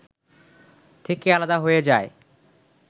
থেকে আলাদা হয়ে যায়